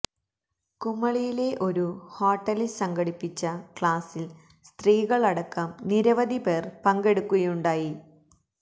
കുമളിയിലെ ഒരു ഹോട്ടലിൽ സംഘടിപ്പിച്ച ക്ലാസിൽ സ്ത്രീകൾ അടക്കം നിരവധി പേർ പങ്കെടുക്കുയുമുണ്ടായി